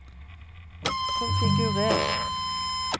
konfigurer